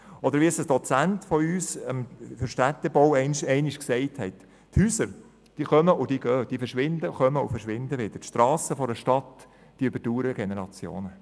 Oder wie uns ein Dozent für Städtebau einmal gesagt hat: Häuser kommen und verschwinden wieder, die Strassen einer Stadt überdauern Generationen.